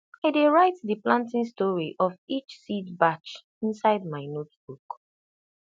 i dey write the planting story of each seed batch inside my notebook